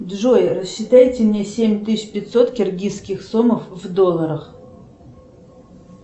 джой рассчитайте мне семь тысяч пятьсот киргизских сомов в долларах